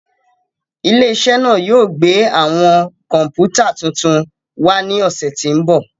Ile-iṣẹ naa yoo gbe awọn kọǹpútà tuntun wa ni ọsẹ ti n bọ.